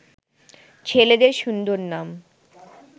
ছেলেদের সুন্দর নাম